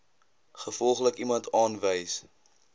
gevolglik iemand aanwys